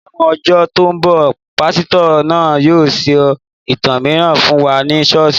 Láwọn ọjọ tó ń bọ̀, pásítọ̀ náà yóò sọ ìtàn mìíràn fún wa ní ṣọ́ọ̀ṣì